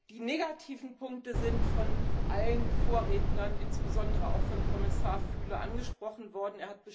Die negativen Punkte sind von allen Vorrednern insbesondere auch von Kommissar Füle angesprochen worden.